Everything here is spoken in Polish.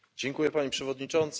Pani Przewodnicząca!